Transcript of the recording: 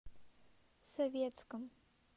советском